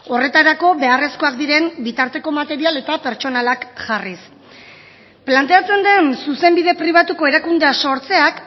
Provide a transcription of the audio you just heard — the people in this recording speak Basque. horretarako beharrezkoak diren bitarteko material eta pertsonalak jarriz planteatzen den zuzenbide pribatuko erakundea sortzeak